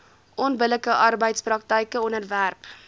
onbillike arbeidspraktyke onderwerp